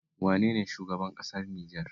Wane ne shugaban ƙasar Nijar?